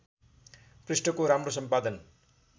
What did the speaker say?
पृष्ठको राम्रो सम्पादन